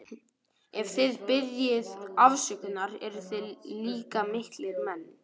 Ef þið biðjið afsökunar eruð þið líka miklir menn.